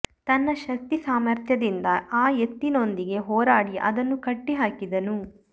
ತನ್ನ ಶಕ್ತಿ ಸಾಮರ್ಥ್ಯದಿಂದ ಆ ಎತ್ತಿನೊಂದಿಗೆ ಹೋರಾಡಿ ಅದನ್ನು ಕಟ್ಟಿ ಹಾಕಿದನು